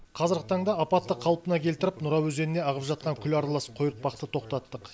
қазіргі таңда апатты қалпына келтіріп нұра өзеніне ағып жатқан күл аралас қойыртпақты тоқтаттық